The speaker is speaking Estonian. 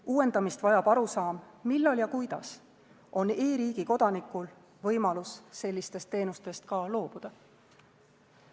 Uuendamist vajab arusaam, millal ja kuidas on e-riigi kodanikul võimalus sellistest teenustest ka loobuda.